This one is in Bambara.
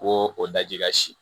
Ko o daji ka si